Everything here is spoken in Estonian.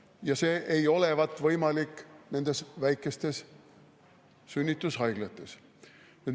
Ja see ei olevat võimalik nendes väikestes sünnitushaiglates.